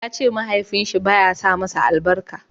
ya ce mahaifin shi ba ya sa masa albarka